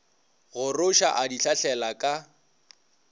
goroša a di hlahlela ka